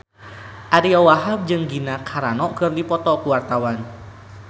Ariyo Wahab jeung Gina Carano keur dipoto ku wartawan